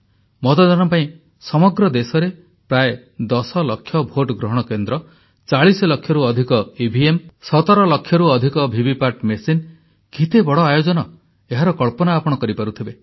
ମତଦାନ ପାଇଁ ସମଗ୍ର ଦେଶରେ ପ୍ରାୟ 10 ଲକ୍ଷ ଭୋଟ ଗ୍ରହଣ କେନ୍ଦ୍ର 40 ଲକ୍ଷରୁ ଅଧିକ ଇଭିଏମ୍ 17 ଲକ୍ଷରୁ ଅଧିକ ଭିଭିପାଟ୍ ମେସିନ କେତେ ବଡ଼ ଆୟୋଜନ ଏହାର କଳ୍ପନା ଆପଣ କରିପାରୁଥିବେ